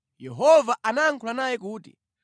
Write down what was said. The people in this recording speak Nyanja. Yehova anayankhula naye kuti,